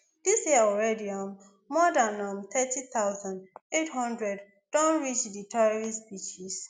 dis year already um more dan um thirty thousand, eight hundred don reach di tourist beaches